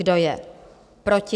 Kdo je proti?